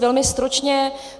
Velmi stručně.